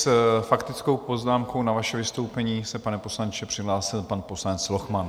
S faktickou poznámkou na vaše vystoupení se, pane poslanče, přihlásil pan poslanec Lochman.